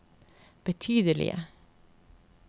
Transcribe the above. betydelige